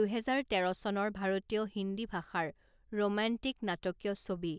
দুহেজাৰ তেৰ চনৰ ভাৰতীয় হিন্দী ভাষাৰ ৰোমান্টিক নাটকীয় ছবি৷